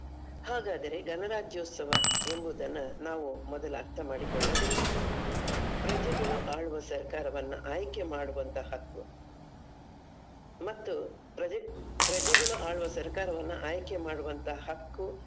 ಹಾಗಾದರೆ ಗಣರಾಜ್ಯೋತ್ಸವ ಎಂಬುದನ್ನ ನಾವು ಮೊದಲು ಅರ್ಥಮಾಡಿಕೊಳ್ಳಬೇಕು. ಪ್ರಜೆಗಳು ಆಳುವ ಸರ್ಕಾರವನ್ನ ಆಯ್ಕೆ ಮಾಡುವಂತ ಹಕ್ಕು ಮತ್ತು ಪ್ರಜೆ ಪ್ರಜೆಗಳು ಆಳುವ ಸರ್ಕಾರವನ್ನ ಆಯ್ಕೆ ಮಾಡುವಂತ ಹಕ್ಕು.